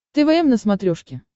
твм на смотрешке